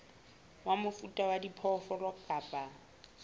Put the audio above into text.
wa mofuta wa diphoofolo kapa